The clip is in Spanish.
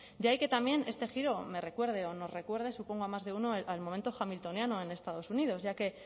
de ahí que también este giro me recuerde o nos recuerde supongo a más de uno al momento hamiltoniano en estados unidos ya que